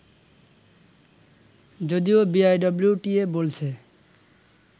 যদিও বিআইডব্লিউটিএ বলছে